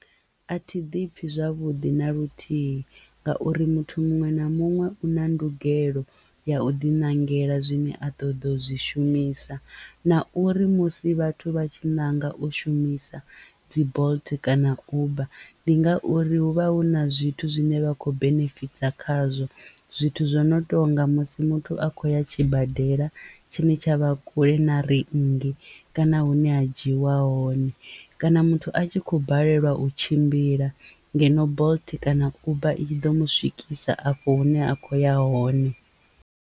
A thi ḓipfhi zwavhuḓi na luthihi ngauri muthu muṅwe na muṅwe u na ndugelo ya u ḓinangela zwine a ṱoḓa u zwi shumisa na uri musi vhathu vha tshi ṋanga u shumisa dzi bolt kana uber ndi ngauri hu vha hu na zwithu zwine vha khou benefitha khazwo. Zwithu zwo no tonga musi muthu a khou ya tshibadela tshine tsha vha kule na rinngi kana hune ha dzhiiwa hone kana muthu a tshi khou balelwa u tshimbila ngeno bolt kana uber i tshi ḓo mu swikisa afho hune a kho ya hone.